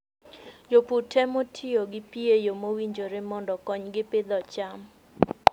Jopur temo tiyo gi pi e yo mowinjore mondo okonygi pidho cham.